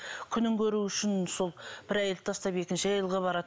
күнін көру үшін сол бір әйелді тастап екінші әйелге барады